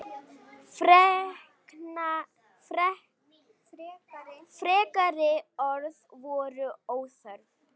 Frekari orð voru óþörf.